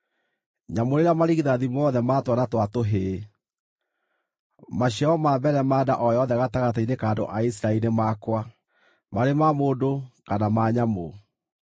“Nyamũrĩra marigithathi mothe ma twana twa tũhĩĩ. Maciaro ma mbere ma nda o yothe gatagatĩ-inĩ ka andũ a Isiraeli nĩ makwa, marĩ ma mũndũ kana ma nyamũ.”